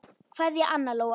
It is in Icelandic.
Kveðja, Anna Lóa.